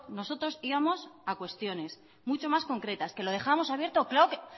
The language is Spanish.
nosotros íbamos a cuestiones mucho más concretas que lo dejábamos abierto claro